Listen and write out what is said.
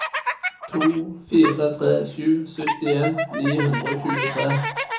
to fire tre sju syttien ni hundre og tjuetre